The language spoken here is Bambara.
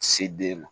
Se den ma